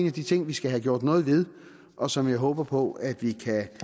af de ting vi skal have gjort noget ved og som jeg håber på at vi